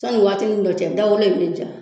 Sani waatini dɔ cɛ da wolo in me ja